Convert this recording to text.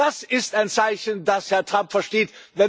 Das ist ein Zeichen, das Herr Trump versteht.